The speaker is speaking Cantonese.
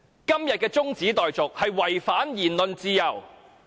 今天的中止待續議案違反言論自由。